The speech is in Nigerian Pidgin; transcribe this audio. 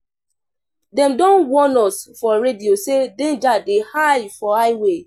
Dem don warn us for radio sey danger dey for high way.